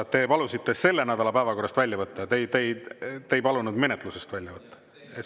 Kas te palusite selle nädala päevakorrast välja võtta, te ei palunud seda menetlusest välja võtta?